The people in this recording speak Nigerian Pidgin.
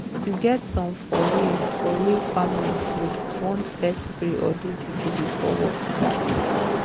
you get some for real for real families dey want fess pray or do juju before work start